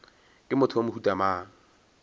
ke motho wa mohuta mang